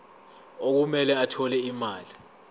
okumele athole imali